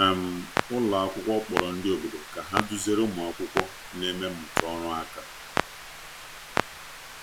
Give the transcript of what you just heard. um Ụlọ akwụkwọ kpọrọ ndị obodo ka ha duziere ụmụ akwụkwọ na-eme mmụta ọrụ aka.